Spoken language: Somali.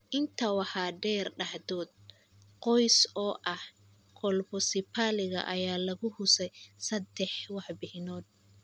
Intaa waxaa dheer, dhacdo qoys oo ah colpocephaliga. ayaa lagu xusay saddex warbixinood.